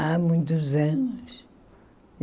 Há muitos anos.